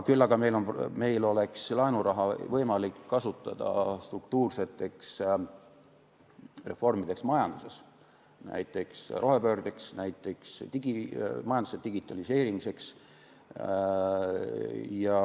Küll aga oleks meil laenuraha võimalik kasutada struktuurseteks reformideks majanduses, näiteks rohepöördeks, majanduse digitaliseerimiseks.